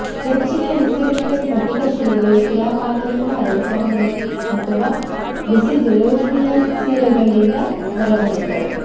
ಹೆಚ್ಚಿನ ನೈಸರ್ಗಿಕ ಸ್ಫಟಿಕ ಶಿಲೆಗಳು ಶಿಲಾಪಾಕದಿಂದ ಹರಡುತ್ತವೆ ಅಥವಾ ಬಿಸಿ ಜಲೋಷ್ಣೀಯ ಸಿರೆಗಳಿಂದ ಹೊರಬರುತ್ತವೆ